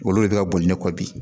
Olu de bɛ ka boli ne kɔ bi